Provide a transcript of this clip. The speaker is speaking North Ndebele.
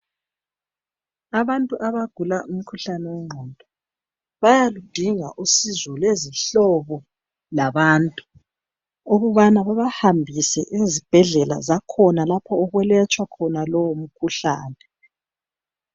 Abantu abagula umkhuhlane wengqondo bayaludinga usizo lwezihlobo labantu ukubana babahambise ezibhedlela zakhona lapho okulatshwa khona lowo mkhuhlane.